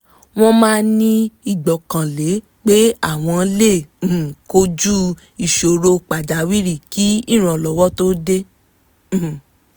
wọ́n máa ní ìgbọ́kànlé pé àwọn lè um kojú ìṣòro pàjáwìrì kí ìrànlọ́wọ́ tó dé um